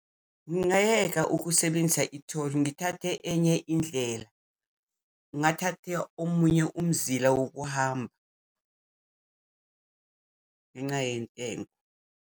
Ngingayeka ukusebenzisa itholi, ngithathe enye indlela. Ngingathatha omunye umzila wokuhamba ngenca yentengo.